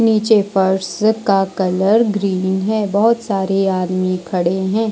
नीचे फर्श का कलर ग्रीन है बहोत सारे आदमी खड़े हैं।